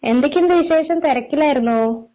എന്തൊക്കെയുണ്ട് വിശേഷം തിരക്കിലായിരുന്നോ